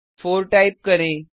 4 type करें